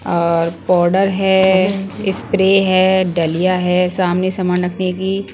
और पाउडर हैं स्प्रे हैं डलिया हैं सामने सामान रखने की --